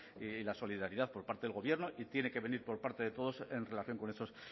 y la solidaridad por parte del gobierno y tiene que venir por parte de todos en relación con esos